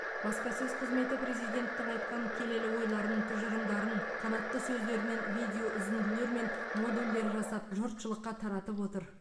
баспасөз қызметі президенттің айтқан келелі ойларын тұжырымдарын қанатты сөздерінен видеоүзінділер мен модульдер жасап жұртшылыққа таратып отыр